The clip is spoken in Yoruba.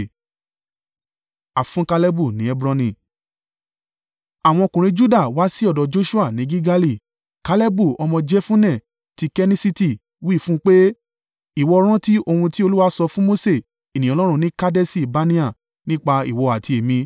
Àwọn ọkùnrin Juda wá sí ọ̀dọ̀ Joṣua ní Gilgali. Kalebu ọmọ Jefunne ti Kenissiti wí fún un pé, “Ìwọ rántí ohun tí Olúwa sọ fún Mose ènìyàn Ọlọ́run ní Kadeṣi-Barnea nípa ìwọ àti èmi.